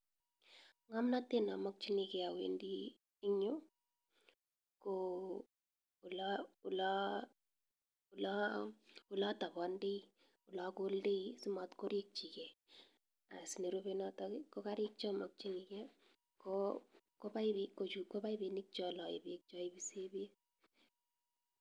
Ng'amnatet namakchnike awendi ing nyu , ko oleatapandai , olakoldeii simatkorikchike as nerupe noto kokarik cha makchinike kopaipini chaipisek bek .